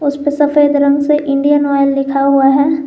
इसपे सफेद रंग से इंडियन ऑयल लिखा हुआ है।